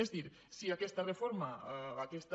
és a dir si aquesta reforma aquesta